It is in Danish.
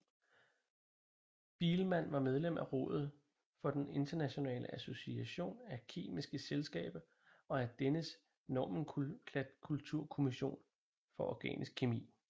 Biilmann var medlem af rådet for den internationale association af kemiske selskaber og af dennes nomenklaturkommission for organisk kemi